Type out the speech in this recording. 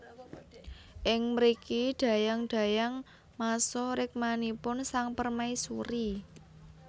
Ing mriki dayang dayang masuh rikmanipun sang permaisuri